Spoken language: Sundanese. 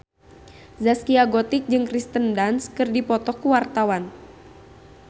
Zaskia Gotik jeung Kirsten Dunst keur dipoto ku wartawan